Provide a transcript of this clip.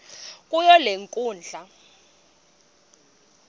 kuyo le nkundla